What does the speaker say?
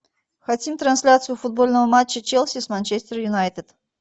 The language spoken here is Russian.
хотим трансляцию футбольного матча челси с манчестер юнайтед